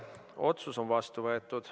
Otsus on vastu võetud.